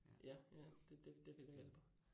ja, ja det det det ville hjælper